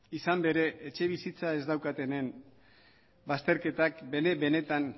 izan ere etxebizitza ez daukatenen bazterketak bene benetan